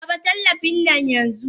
Raba tallafin nan yanxu!